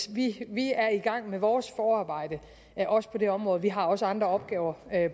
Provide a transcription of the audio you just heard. vi vi er i gang med vores forarbejde også på det område vi har også andre opgaver